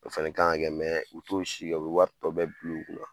O fɛnɛ k'an kan kɛ, u t'o si kɛ, u bɛ wari tɔ bɛ bulu kun na.